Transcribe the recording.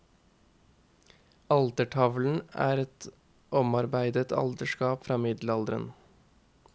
Altertavlen er et omarbeidet alterskap fra middelalderen.